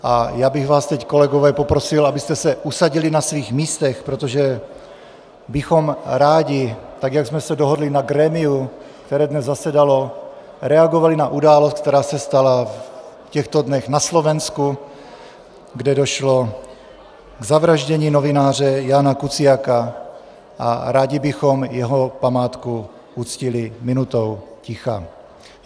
A já bych vás teď kolegové poprosil, abyste se usadili na svých místech, protože bychom rádi, tak jak jsme se dohodli na grémiu, které dnes zasedalo, reagovali na událost, která se stala v těchto dnech na Slovensku, kde došlo k zavraždění novináře Jána Kuciaka, a rádi bychom jeho památku uctili minutou ticha.